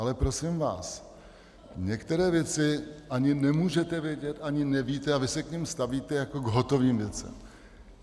Ale prosím vás, některé věci ani nemůžete vědět, ani nevíte, a vy se k nim stavíte jako k hotovým věcem.